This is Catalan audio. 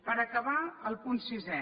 per acabar el punt sisè